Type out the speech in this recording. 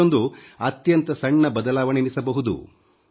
ಇದೊಂದು ಅತ್ಯಂತ ಸಣ್ಣ ಬದಲಾವಣೆ ಎನ್ನಿಸಬಹುದು